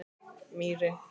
Mýri